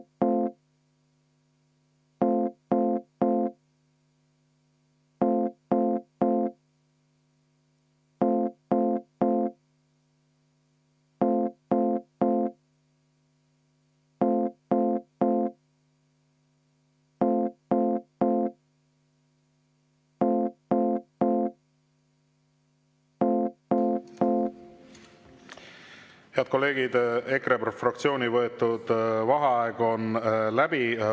Head kolleegid, EKRE fraktsiooni võetud vaheaeg on läbi.